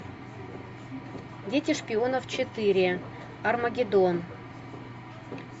дети шпионов четыре армагеддон